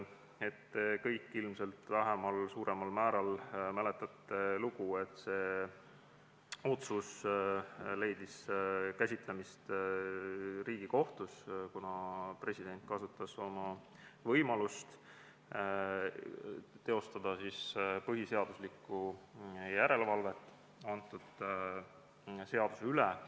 Te kõik ilmselt vähemal või suuremal määral mäletate, kuidas see otsus leidis käsitlemist Riigikohtus, sest president kasutas toona oma võimalust teostada põhiseaduslikku järelevalvet selle seaduse üle.